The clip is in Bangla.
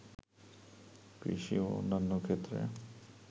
কৃষি ও অন্যান্য ক্ষেত্রে